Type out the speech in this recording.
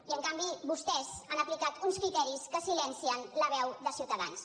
i en canvi vostès han aplicat uns criteris que silencien la veu de ciutadans